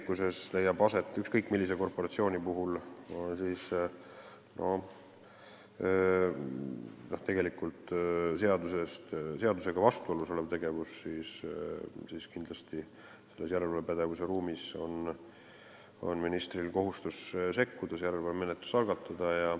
Kui leiab aset ükskõik millise korporatsiooni seadusega vastuolus olev tegevus, siis on järelevalvepädevuse raames ministril kindlasti kohustus sekkuda ja järelevalvemenetlus algatada.